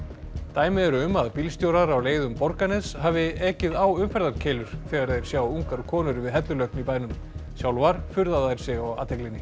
dæmi eru um að bílstjórar á leið um Borgarnes hafi ekið á umferðarkeilur þegar þeir sjá ungar konur við hellulögn í bænum sjálfar furða þær sig á athyglinni